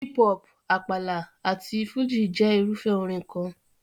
Hip hop, Àpàlà àti Fújì jẹ́ irúfẹ́ orin kan.